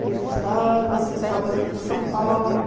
Que a gente estava se instalando aqui em São Paulo.